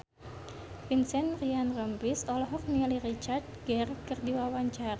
Vincent Ryan Rompies olohok ningali Richard Gere keur diwawancara